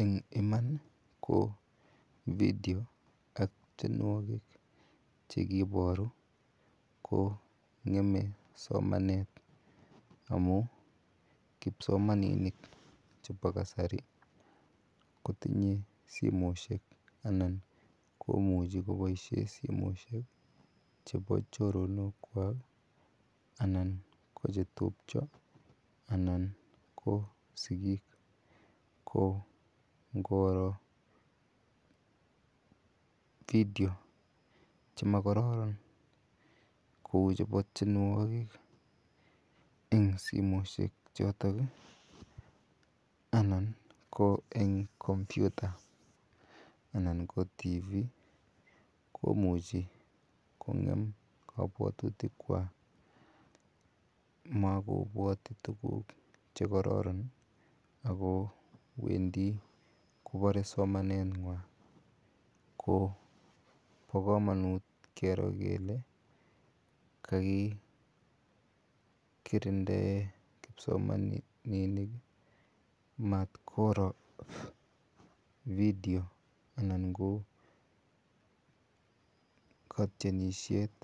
Eng iman ko vidio ak tienwokik chekiboru ko ngeme somanet amun kipsomaninik chebo kasari kotinye simoishek anan komuchi koboishen simoishek chebo choronokwak anan ko chetubcho anan ko sikiik ko ngoro vidio chemokororon kouu chebo tienwokik eng simoishe choton anan ko eng kompyuta anan ko tv komuchi kongem kobwotutikwa mokobwoti tukuk chekororon ak ko wendi kobore somanenywan ko bokomonut kero kelee kakikirindae kipsomaninik matkoro vidio anan ko kotienishet